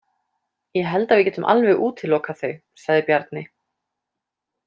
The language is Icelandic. Ég held að við getum alveg útilokað þau, sagði Bjarni.